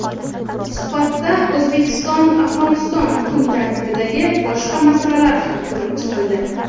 Suhbatda O‘zbekistonAfg‘oniston kun tartibidagi boshqa masalalar ham ko‘rib chiqildi.